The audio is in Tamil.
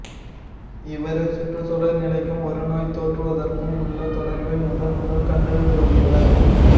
இவரே சுற்றுச் சூழல் நிலைக்கும் ஒரு நோய் தோன்றுவதற்கும் உள்ள தொடர்பை முதன்முதல் கண்டு கூறியவர்